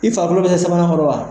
I falo bɛ se sabanan kɔrɔ wa?